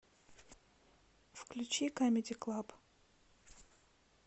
включи камеди клаб